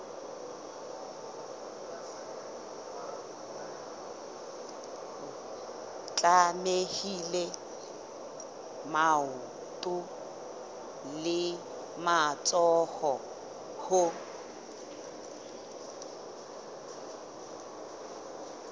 tlamehile maoto le matsoho ho